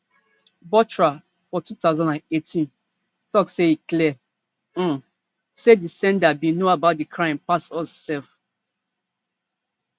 bothra for two thousand and eighteen tok say e clear um say di sender bin know about di crime pass us sef